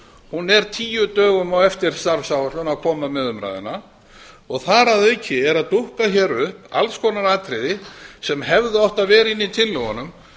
hún er tíu dögum á eftir starfsáætlun að koma með umræðuna og þar að auki eru að dúkka hér upp alls konar atriði sem hefðu átt að vera inni í tillögunum